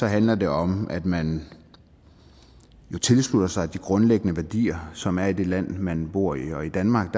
handler det om at man tilslutter sig de grundlæggende værdier som er i det land man bor i og i danmark